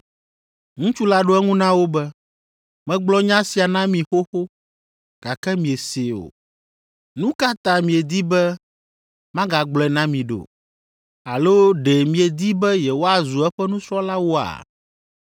Ŋutsu la ɖo eŋu na wo be, “Megblɔ nya sia na mi xoxo, gake miesee o. Nu ka ta miedi be magagblɔe na mi ɖo? Alo ɖe miedi be yewoazu eƒe nusrɔ̃lawoa?”